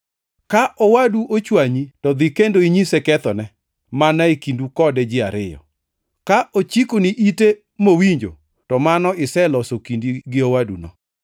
“Ka owadu ochwanyi to dhi kendo inyise kethone, mana e kindu kode ji ariyo. Ka ochikoni ite mowinjo to mano iseloso kindi gi owaduno.